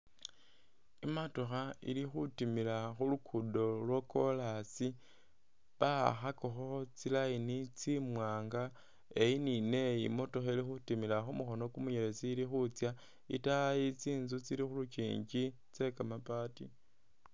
Imatokha ili khutimila khulukudo lwo kolaasi bawakhakakho tsi line tsi mwanga eyi ni neyi motokha ili khutimila khumukhono khumunyelezi, itaayi tsinzu tsili khulikyinkyi tse kamabaati.